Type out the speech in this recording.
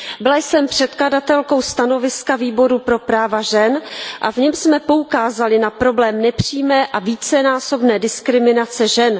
Byla jsem předkladatelkou stanoviska Výboru pro práva žen a v něm jsme poukázali na problém nepřímé a vícenásobné diskriminace žen.